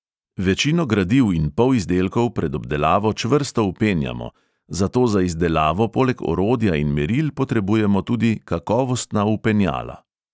Večino gradiv in polizdelkov pred obdelavo čvrsto vpenjamo, zato za izdelavo poleg orodja in meril potrebujemo tudi kakovostna vpenjala.